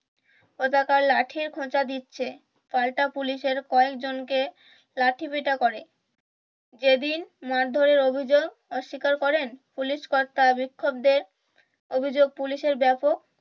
লাঠির খোঁচা দিচ্ছে পাল্টা পুলিশের কয়েক জনকে লাঠিপেটা করে যেদিন মারধরের অভিযোগ অস্বীকার করেন পুলিশ কর্তারা বিক্ষোপদের অভিযোগ পুলিশের ব্যাপক